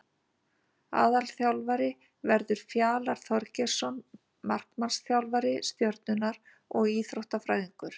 Aðalþjálfari verður Fjalar Þorgeirsson markmannsþjálfari Stjörnunnar og Íþróttafræðingur.